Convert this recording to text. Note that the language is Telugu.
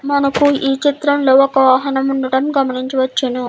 మనకు ఈ చిత్రం లో ఒక వాహనం ఉండడం గమనించవచ్చును.